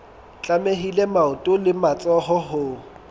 tlamehile maoto le matsoho ho